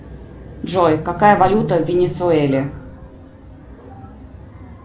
джой какая валюта в венесуэле